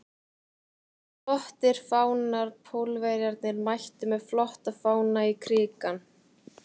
Flottir fánar Pólverjarnir mættu með flotta fána í Krikann.